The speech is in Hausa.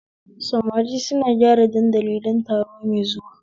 Samari suna gyara dandali don taro mai zuwa